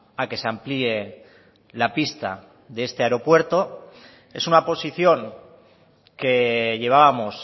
a que se amplíe la pista de este aeropuerto es una posición que llevábamos